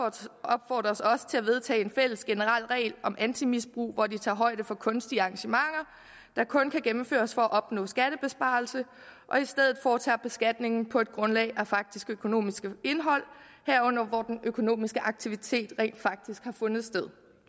opfordres også til at vedtage en fælles generel regel om antimisbrug hvor de tager højde for kunstige arrangementer der kun kan gennemføres for at opnå skattebesparelse og i stedet foretager beskatningen på grundlag af det faktiske økonomiske indhold herunder hvor den økonomiske aktivitet rent faktisk har fundet sted